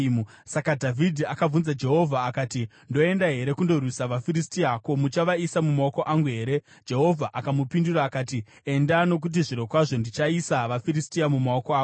Saka Dhavhidhi akabvunza Jehovha akati, “Ndoenda here kundorwisa vaFiristia? Ko, muchavaisa mumaoko angu here?” Jehovha akamupindura akati, “Enda, nokuti zvirokwazvo ndichaisa vaFiristia mumaoko ako.”